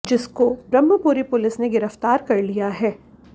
जिसको ब्रह्मपुरी पुलिस ने गिरफ्तार कर लिया है